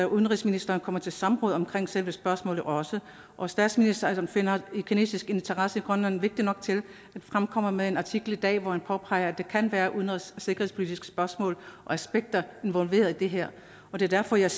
udenrigsministeren kommer til samråd om selve spørgsmålet og og statsministeren finder en kinesisk interesse i grønland vigtig nok til at fremkomme med en artikel i dag hvor han påpeger at der kan være udenrigs og sikkerhedspolitiske spørgsmål og aspekter involveret i det her det er derfor jeg